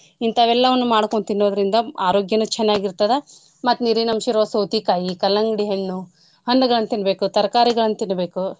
ಇಂತಾವೆಲ್ಲಾನು ಮಾಡ್ಕೊಂಡು ತಿನ್ನೋದ್ರಿಂದ ಆರೋಗ್ಯನೂ ಚನ್ನಾಗಿರ್ತದ. ಮತ್ತ್ ನಿರೀನ್ ಅಂಶಿರೋ ಸೌತಿಕಾಯಿ ಕಲಂಗ್ಡಿ ಹಣ್ಣು, ಹಣ್ಣುಗಳನ್ ತೀನ್ನ್ಬೇಕು ತರ್ಕಾರಿಗಳನ್ ತೀನ್ನ್ಬೇಕು.